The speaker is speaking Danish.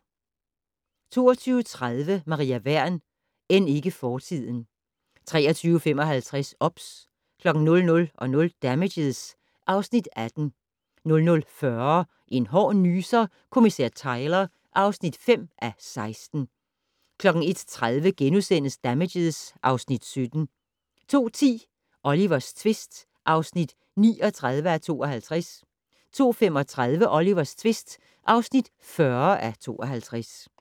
22:30: Maria Wern: End ikke fortiden 23:55: OBS 00:00: Damages (Afs. 18) 00:40: En hård nyser: Kommissær Tyler (5:16) 01:30: Damages (Afs. 17)* 02:10: Olivers tvist (39:52) 02:35: Olivers tvist (40:52)